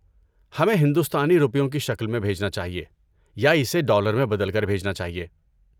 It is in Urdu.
ہمیں ہندوستانی روپیوں کی شکل میں بھیجنا چاہئے یا اسے ڈالر میں بدل کر بھیجنا چاہئے؟